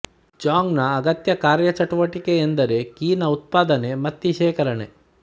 Jong ನ ಅಗತ್ಯ ಕಾರ್ಯಚಟುವಟಿಕೆ ಎಂದರೆ ಕಿ ನ ಉತ್ಪಾದನೆ ಮತ್ತಿ ಶೇಖರಣೆ